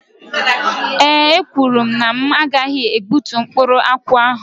Ee ekwuru mụ na m gaghị egbútú mkpụrụ akwụ ahụ.